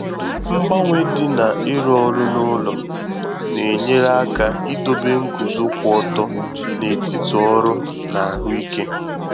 Mgbanwe dị na ịrụ òrụ́ n'ụlọ na-enyèrè aka idobe nguzo kwụ ọtọ n’etiti ọrụ na ahụ ike